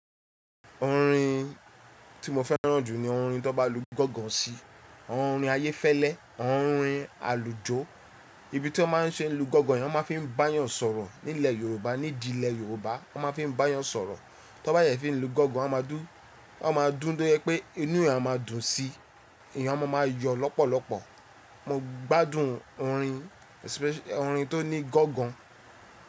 Orin tí mo fẹ́ràn jù ni orin tó bá lu gángan sí, orin ayéfẹ́lẹ́, orin àlùjó. Ibi tí wọ́n máa ń ṣe ń lu gángan, wọ́n máa fi ń báyan sọ̀rọ̀. Nílẹ̀ Yorùbá, ní ìdílé Yorùbá wọ́n máa fi ń báyan sọ̀rọ̀. Tọ́n bá dẹ̀ fi ń lu gángan, a maa dun a máa dún to jẹ pé inú èèyàn a máa dùn sí i, èèyàn a máa máa yọ lọ́pọ̀lọ́pọ̀. Mo gbádùn orin tó ní gángan.